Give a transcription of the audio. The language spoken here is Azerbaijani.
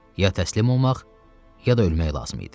Ya təslim olmaq, ya da ölmək lazım idi.